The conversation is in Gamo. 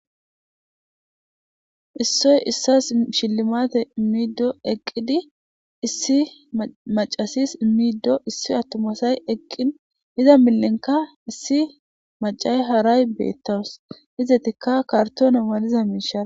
issoy issasa hillimatete immido eqqidi issi maccasis immido issi attomasay eqqin iza millinka issi macay haray beettawus izetikka kartoona maliza miisha.